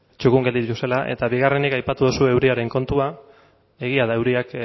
txukun gelditu zela eta bigarrenik aipatu duzu euriaren kontua egia da euriak